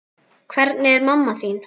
Hvernig er mamma þín?